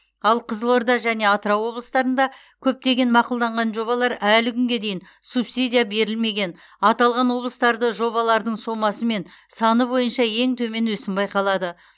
ал қызылорда және атырау облыстарында көптеген мақұлданған жобалар әлі күнге дейін субсидия берілмеген аталған облыстарда жобалардың сомасы мен саны бойынша ең төмен өсім байқалады